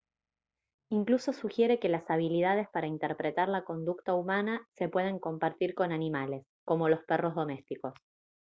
incluso sugiere que las habilidades para interpretar la conducta humana se pueden compartir con animales como los perros domésticos